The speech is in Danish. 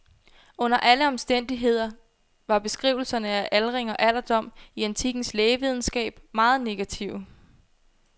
Under alle omstændigheder var beskrivelserne af aldring og alderdom i antikkens lægevidenskab meget negative.